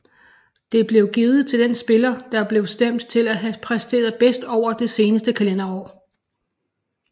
Det blev givet til den spiller der blev stemt til at have præsteret bedst over det seneste kalenderår